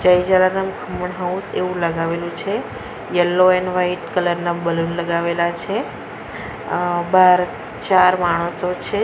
જય જલારામ ખમણ હાઉસ એવું લગાવેલું છે યલો એન્ડ વાઈટ કલર ના બલૂન લગાવેલા છે અ બાર ચાર માણસો છે.